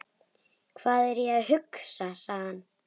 Hvað er ég að hugsa? sagði hann.